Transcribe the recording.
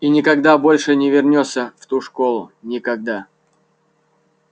и никогда больше не вернёшься в ту школу никогда